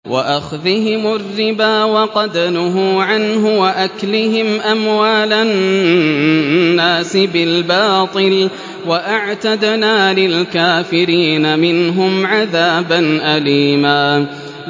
وَأَخْذِهِمُ الرِّبَا وَقَدْ نُهُوا عَنْهُ وَأَكْلِهِمْ أَمْوَالَ النَّاسِ بِالْبَاطِلِ ۚ وَأَعْتَدْنَا لِلْكَافِرِينَ مِنْهُمْ عَذَابًا أَلِيمًا